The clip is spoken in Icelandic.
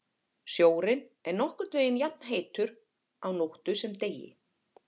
Sjórinn er nokkurn veginn jafnheitur á nóttu sem degi.